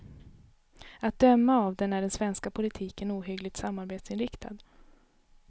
Att döma av den är den svenska politiken ohyggligt samarbetsinriktad.